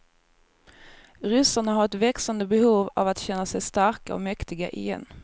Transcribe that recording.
Ryssarna har ett växande behov av att känna sig starka och mäktiga igen.